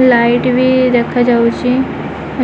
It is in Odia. ଲାଇଟ ବି ଦେଖାଯାଉଛି